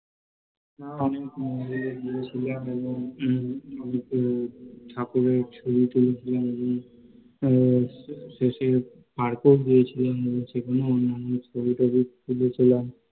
আমিও মন্দিরে গিয়েছিলাম এবং গিয়ে ঠাকুরের ছবি টবি তুলি, শেষে Park এও গিয়েছিলাম সেখানেও ছবি টবি তুলেছিলাম